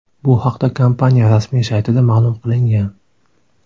Bu haqda kompaniya rasmiy saytida ma’lum qilingan .